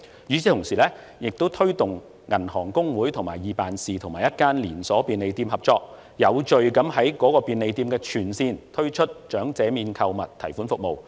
與此同時，我們亦推動香港銀行公會及易辦事與一間連鎖便利店合作，有序地在該便利店的全線分店推出長者免購物提款服務。